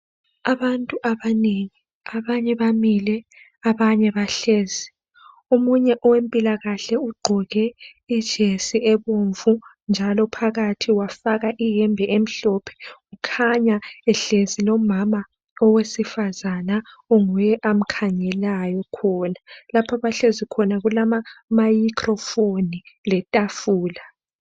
Abantu abanengi abanye bamile abanye bahlezi omunye owempilakahle ugqoke ijesi ebomvu njalo phakathi wafaka iyembe emhlophe kukhanya ehlezi lo mama owesifazana onguye amkhangelayo khona lapha abahlezi khona kulama mayikhro foni letafula.